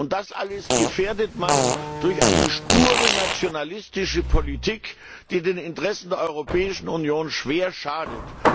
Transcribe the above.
Und das alles gefährdet man durch eine sture nationalistische Politik, die den Interessen der Europäischen Union schwer schadet.